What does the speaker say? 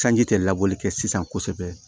Sanji tɛ laboli kɛ sisan kosɛbɛ